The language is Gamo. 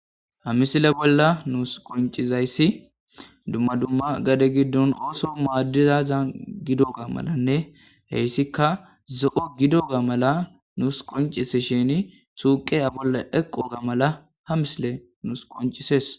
Ha missile bolla nussi qoncizayssi dumma dumma gade gidon ooththo madizazan gidogga mallanne hessikka zo'o gidogga malla nus qoncisishshini xuqiya bolla eqogga malla ha missiley nus qoncissees